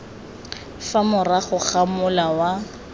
fa morago ga mola wa